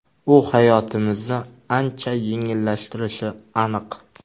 U hayotimizni ancha yengillashtirishi aniq.